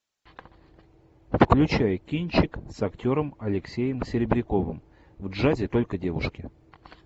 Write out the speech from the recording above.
включай кинчик с актером алексеем серебряковым в джазе только девушки